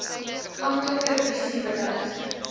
amptelike visie beleid